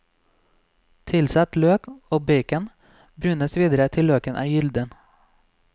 Tilsett løk og bacon, brunes videre til løken er gylden.